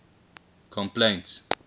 complaints